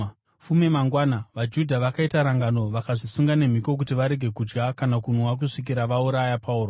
Fume mangwana, vaJudha vakaita rangano vakazvisunga nemhiko kuti varege kudya kana kunwa kusvikira vauraya Pauro.